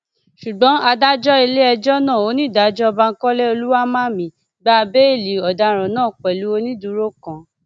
ṣùgbọn adájọ iléẹjọ náà onídàájọ bankole olùwáḿàmì gba béèlì ọdaràn náà pẹlú onídùúró kan